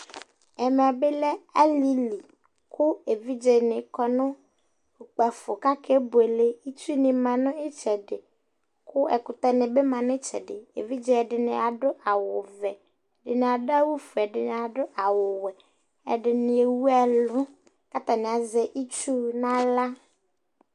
ɛmɛ bi lɛ alili kò evidze ni kɔ no kpafo k'ake buele itsu ni ma n'itsɛdi kò ɛkutɛ ni bi ma n'itsɛdi evidze ɛdini ado awu vɛ ɛdini ado awu fue ɛdini ado awu wɛ ɛdini ewu ɛlu k'atani azɛ itsu n'ala